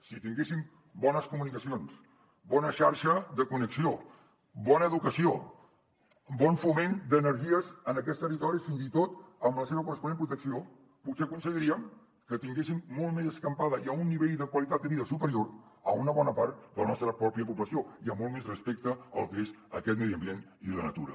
si tinguéssim bones comunicacions bona xarxa de connexió bona educació bon foment d’energies en aquests territoris fins i tot amb la seva corresponent protecció potser aconseguiríem que tinguéssim molt més escampada i a un nivell de qualitat de vida superior una bona part de la nostra pròpia població i amb molt més respecte a lo que és aquest medi ambient i la natura